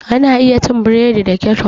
Ana iya cin burodi da keccof.